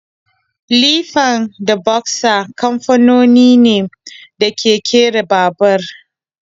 Lifan da boxer kamfanoni ne da ke kera babur.